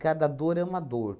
Cada dor é uma dor.